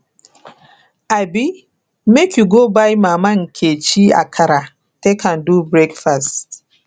abi make you go buy mama nkechi akara take am do breakfast